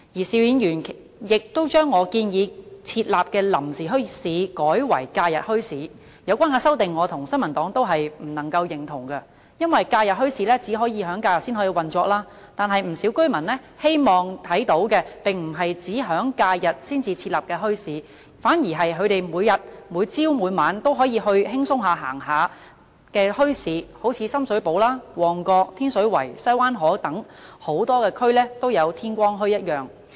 邵議員亦將我建議設立的"臨時墟市"改為"假日墟市"，對於有關的修正，我及新民黨都不能夠認同，因為假日墟市只可以在假日運作，但不少居民希望看到的並不是只在假日才設立的墟市，反而是每天早上及晚上都可以前往閒逛的墟市，好像深水埗、旺角、天水圍、西灣河等多區都有的天光墟。